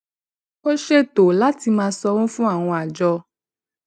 ó ṣètò láti máa sanwó fún àwọn àjọ